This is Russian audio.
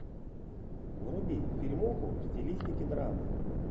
вруби фильмуху в стилистике драмы